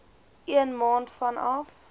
een maand vanaf